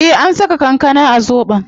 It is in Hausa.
Eh an saka kankana a zobon